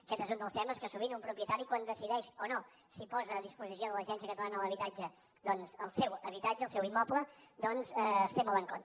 aquest és un dels temes que sovint un propietari quan decideix o no si posa a disposició de l’agència catalana de l’habitatge doncs el seu habitatge el seu immoble té molt en compte